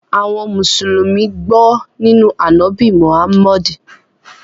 Àwọn Musulumi gbọ̀ nínu Anábì Mohammed.